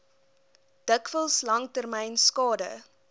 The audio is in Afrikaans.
dikwels langtermyn skade